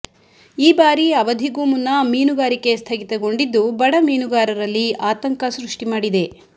ಈ ಬಾರಿ ಅವಧಿಗೂ ಮುನ್ನ ಮೀನುಗಾರಿಕೆ ಸ್ಥಗಿತಗೊಂಡಿದ್ದು ಬಡ ಮೀನುಗಾರರಲ್ಲಿ ಆತಂಕ ಸೃಷ್ಠಿ ಮಾಡಿದೆ